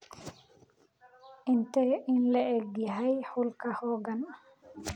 intee in le'eg yahay hulk hogan